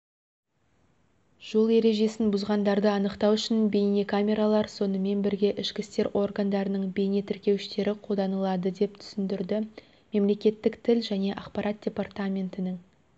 жол ережесін бұзғандарды анықтау үшін бейнекамералар сонымен бірге ішкі істер органдарының бейне тіркеуіштері қолданылады деп түсіндірді мемлекеттік тіл және ақпарат департаментінің